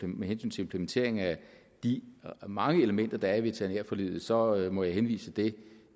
med hensyn til implementering af de mange elementer der er i veterinærforliget så må jeg henvise det